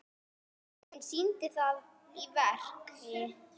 Hún sýndi það í verki.